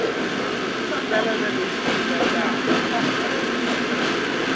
xitsalwana lexi xi nga kahle